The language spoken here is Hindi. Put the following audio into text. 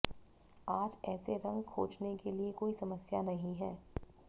आज ऐसे रंग खोजने के लिए कोई समस्या नहीं है